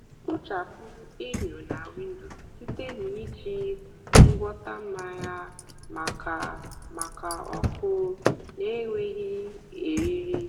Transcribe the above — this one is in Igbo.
kpochapụ enyo na windo site na iji ngwọta mmanya maka maka ọkụ na-enweghị eriri.